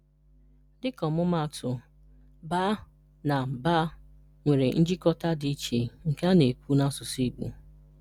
Dịka ọmụmaatụ, “bá” na “bà” nwere njikọ dị iche nke a na-ekwu n’asụsụ Igbo.